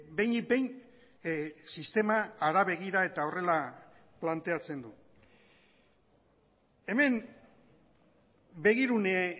behinik behin sistema hara begira eta horrela planteatzen du hemen begirune